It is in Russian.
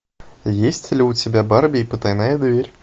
есть ли у тебя барби и потайная дверь